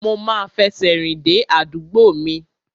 Mo ma fẹsẹ̀ rìn dé àdúgbò mi.